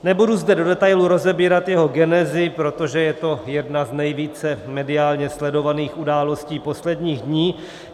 Nebudu zde do detailů rozebírat jeho genezi, protože je to jedna z nejvíce mediálně sledovaných událostí posledních dní.